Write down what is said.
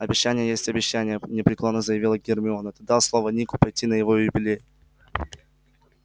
обещание есть обещание непреклонно заявила гермиона ты дал слово нику пойти на его юбилей